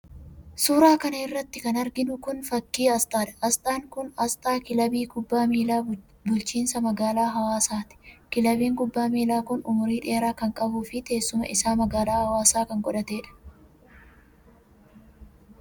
Suura kana irratti kan arginu kun, fakkii asxaadha. Asxaan kun ,asxaa kilabii kubbaa miilaa bulchiinsa magaalaa Hawaasaati. Kilabiin kubbaa miilaa kun, umurii dheeraa kan qabuu fi teessuma isaa magaalaa Hawaasaa kan godhatee dha.